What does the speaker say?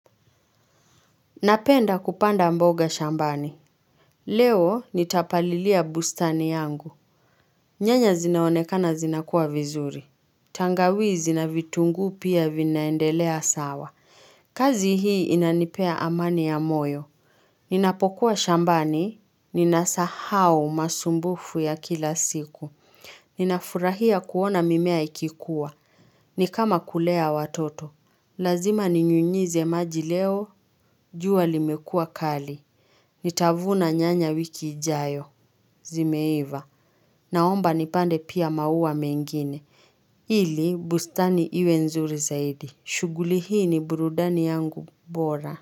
Napenda kupanda mboga shambani. Leo nita palilia bustani yangu. Nyanya zinaonekana zinakua vizuri. Tangawizi na vitungu pia vinaendelea sawa. Kazi hii inanipea amani ya moyo. Ninapokuwa shambani. Ninasahau masumbufu ya kila siku. Ninafurahia kuona mimea ikikuwa. Nikama kulea watoto. Lazima ninyunyize maji leo. Jua limekua kali. Nitavuna nyanya wiki ijayo. Zimeiva. Naomba nipande pia maua mengine. Ili, bustani iwe nzuri zaidi. Shughuli hii ni burudani yangu bora.